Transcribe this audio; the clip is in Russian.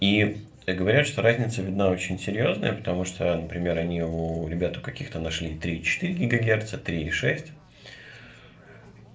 и говорят что разница видна очень серьёзная потому что например они у ребят у каких-то нашли три и четыре гигагерца три и шесть